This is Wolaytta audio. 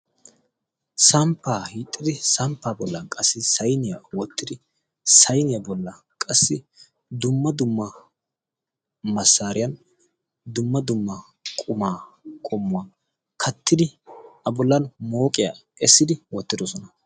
Samppaa hiixxidi samppaa bollan qassi sainiyaa woottidi sayniyaa bollan qassi dumma dumma masaariyan dumma dumma qumaa qommuwaa kattidi abullan mooqiyaa essidi oottidosona.